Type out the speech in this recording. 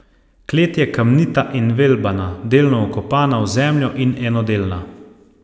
Klet je kamnita in velbana, delno vkopana v zemljo in enodelna.